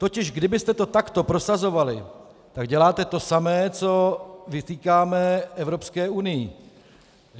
Totiž kdybyste to takto prosazovali, tak děláte to samé, co vytýkáme Evropské unii.